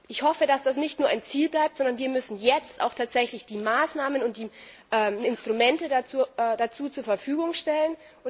Ich hoffe, dass das nicht nur ein Ziel bleibt, sondern wir müssen jetzt auch tatsächlich die Maßnahmen und die Instrumente dazu zur Verfügung stellen.